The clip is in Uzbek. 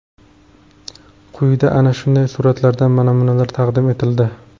Quyida ana shunday suratlardan namunalar taqdim etildi.